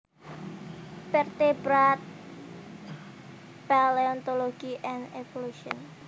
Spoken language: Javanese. Vertebrate Paleontology and Evolution